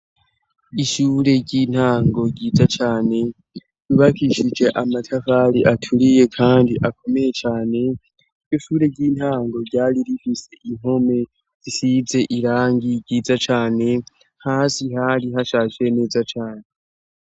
Ishure ry'intango ryiza cane ryubakishije amatafari aturiye kandi akomeye cyane. Ishure ry'intango ryari rifise inkome risize irangi ryiza cane hasi hari hashaje neza cane.